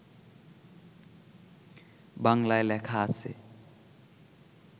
বাংলায় লেখা আছে